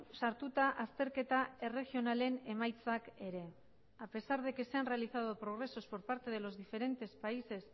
sartuta azterketa erregionalen emaitzak ere a pesar de que se han realizado progresos por parte de los diferentes países